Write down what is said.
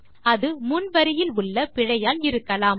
அது முன் வரியில் உள்ள பிழையால் இருக்கலாம்